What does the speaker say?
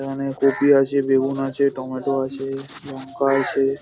এখানে কপি আছে বেগুন আছে টমেটো আছে লঙ্কা আছে।